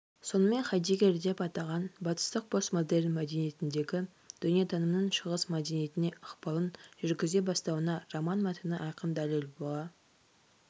сонымен хайдеггер деп атаған батыстық постмодерн мәдениетіндегі дүниетанымның шығыс мәдениетіне ықпалын жүргізе бастауына роман мәтіні айқын дәлел бола